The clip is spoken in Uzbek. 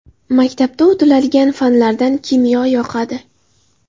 Maktabda o‘tiladigan fanlardan kimyo yoqadi.